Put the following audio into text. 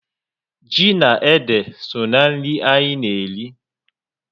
Ji na ede so na nri anyị na eri